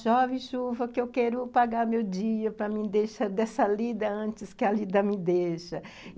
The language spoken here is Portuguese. Chove, chuva, que eu quero pagar meu dia para me deixar dessa lida antes que a lida me deixa